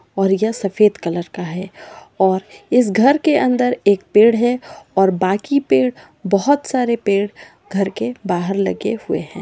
और यह सफेद कलर का है और इस घर के अंदर एक पेड़ है और बाकि पेड़ बहुत सारे पेड़ घर के बाहर लगे हुए हैं।